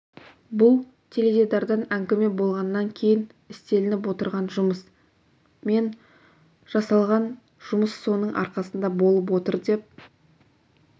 бұл теледидардан әңгіме болғаннан кейін істелініп отырған жұмыс мен жасалған жұмыс соның арқасында болып отыр деп